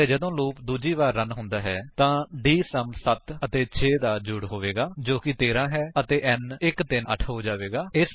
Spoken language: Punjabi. ਅਤੇ ਜਦੋਂ ਲੂਪ ਦੂਜੀ ਵਾਰ ਰਨ ਹੁੰਦਾ ਹੈ ਤਾਂ ਡੀਐਸਯੂਐਮ 7 ਅਤੇ 6 ਦਾ ਜੋੜ ਹੋਵੇਗਾ ਜੋ ਕਿ 13 ਹੈ ਅਤੇ n 138 ਹੋ ਜਾਵੇਗਾ